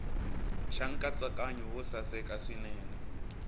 xa nkatsakanyo wo saseka swinene